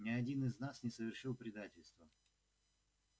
ни один из нас не совершил предательства